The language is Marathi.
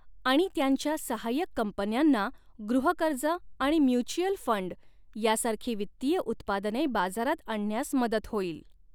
आणि त्यांच्या सहाय्यक कंपन्यांना गृहकर्ज आणि म्युच्युअल फ़ंड यासारखी वित्तीय उत्पादने बाजारात आणण्यास मदत होईल.